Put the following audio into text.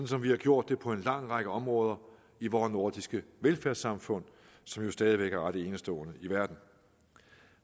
som vi har gjort det på en lang række områder i vores nordiske velfærdssamfund som jo stadig væk er ret enestående i verden